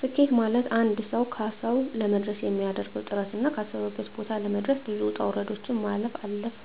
ስኬት ማለትአንድ ሰዉ ካሰዉ ለመድረስ የሚያደርገዉ ጥረትና ካሰበበት ቦታ ለመድረስ ብዙ ዉጣ ዉረዶችን ማለፍ አልፍ